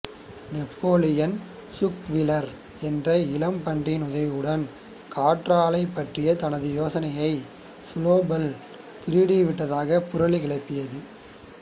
Napoleon Squealer என்ற இளம் பன்றியின் உதவியுடன் காற்றாலைப் பற்றிய தனது யோசனையை சுனோபால் திருடி விட்டதாகப் புரளி கிளப்பியது